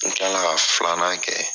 N tila ka filanan kɛ.